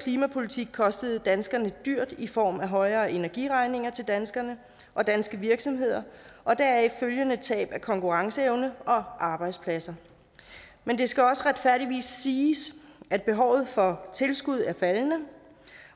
klimapolitik kostet danskerne dyrt i form af højere energiregninger til danskerne og danske virksomheder og deraf følgende tab af konkurrenceevne og arbejdspladser men det skal også retfærdigvis siges at behovet for tilskud er faldende